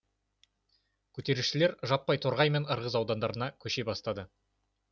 көтерілісшілер жаппай торғай мен ырғыз аудандарына көше бастады